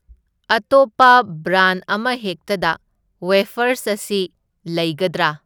ꯑꯇꯣꯞꯄ ꯕ꯭ꯔꯥꯟ ꯑꯃꯍꯦꯛꯇꯗ ꯋꯦꯐꯔꯁ ꯑꯁꯤ ꯂꯩꯒꯗ꯭ꯔꯥ?